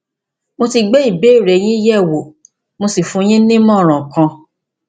mo ti gbé ìbéèrè yín yẹwò mo sì fún yín ní ìmọràn kan